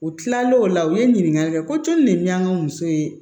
U tilalen o la u ye ɲininkali kɛ ko cori de bi an ka muso ye